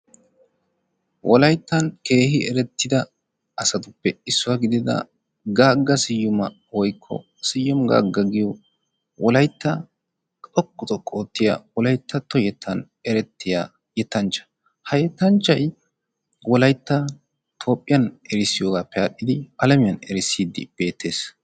Wolayttan keehi erettida asatuppe issuwa gidida gaagga siyuma woykko siyuma gaagga wolaytta xoqqu xoqqu oottiya wolayttatto yettan erettiya yettanchcha. Ha yettanchchayi wolaytta toophphiyan erisdiyoogaappe aadhdhidi alamiyan erissiiddi beettes.